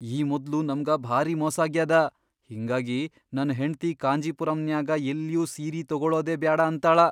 ಈ ಮೊದ್ಲು ನಮ್ಗ ಭಾರೀ ಮೋಸಾಗ್ಯಾದ, ಹಿಂಗಾಗಿ ನನ್ ಹೆಂಡ್ತಿ ಕಾಂಜಿಪುರಂನ್ಯಾಗ ಎಲ್ಲ್ಯೂ ಸೀರಿ ತೊಗೊಳದೇ ಬ್ಯಾಡ ಅಂತಾಳ.